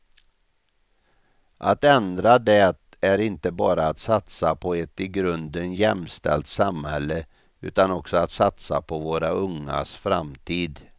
Att ändra det är inte bara att satsa på ett i grunden jämställt samhälle, utan också att satsa på våra ungas framtid.